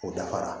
O dafara